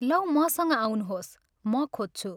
लौ मसँग आउनुहोस्, म खोज्छु।